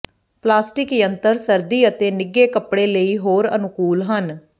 plastic ਯੰਤਰ ਸਰਦੀ ਅਤੇ ਨਿੱਘੇ ਕੱਪੜੇ ਲਈ ਹੋਰ ਅਨੁਕੂਲ ਹਨ